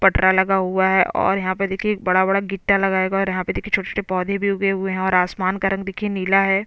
पटरा लगा हुआ है और यहाँ पे देखिये एक बड़ा - बड़ा गिट्टा लगाया गया है और यहाँ पे देखिये छोटे - छोटे पौधे भी उगे हुए हैं और आसमान का रंग देखिये नीला है।